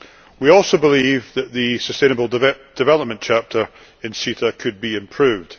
We also believe that the sustainable development chapter in CETA could be improved.